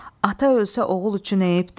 Ata ölsə oğul üçün eyibdir.